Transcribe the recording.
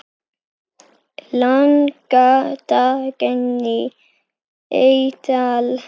Inga Dagný Eydal.